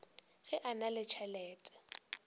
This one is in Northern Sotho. ge a na le tšhelete